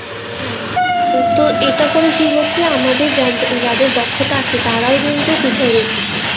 হ্যাঁ তো এটা করে কি হচ্ছে আমাদের যাদের দক্ষতা আছে তারাও কিন্তু পিছায়ে যায়তেছে